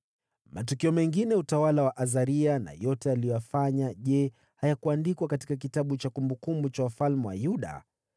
Matukio mengine ya utawala wa Azaria na yote aliyoyafanya, je, hayakuandikwa katika kitabu cha kumbukumbu za wafalme wa Yuda?